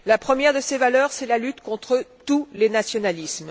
La première de ces valeurs est la lutte contre tous les nationalismes.